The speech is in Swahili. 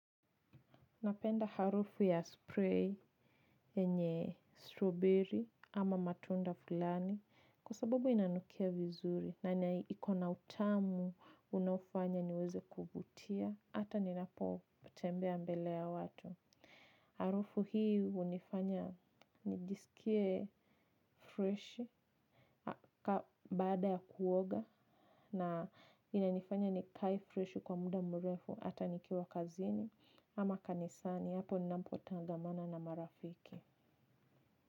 Napenda harufu ya spray yenye strawberry ama matunda fulani kwa sabubu inanukia vizuri na iko na utamu unaofanya niweze kuvutia hata ninapo tembea mbele ya watu. Harufu hii unifanya nijisikie fresh baada ya kuoga na inanifanya nikae fresh kwa muda mrefu hata nikiwa kazini ama kanisani hapo ninapo tangamana na marafiki.